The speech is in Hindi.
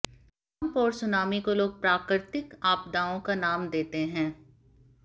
भूकंप और सुनामी को लोग प्राकृतिक आपदाओं का नाम देते हैं